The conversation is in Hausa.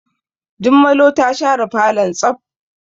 Jummalo ta share falon tsaf.